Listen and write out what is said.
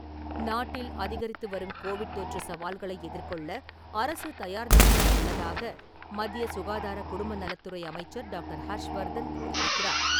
நாட்டில், அதிகரித்துவரும் கோவிட் தொற்று சவால்களை எதிர்கொள்ள அரசு தயார் நிலையில் உள்ளதாக, மத்திய சுகாதார குடும்ப நலத்துறை அமைச்சர் டாக்டர். ஹர்ஷ்வர்தன் கூறியிருக்கிறார்.